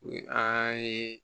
U ye an ye